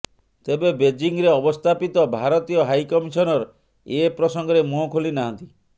ତେବେ ବେଜିଂରେ ଅବସ୍ଥାପିତ ଭାରତୀୟ ହାଇକମିଶନର ଏ ପ୍ରସଙ୍ଗରେ ମୁହଁ ଖୋଲି ନାହାନ୍ତି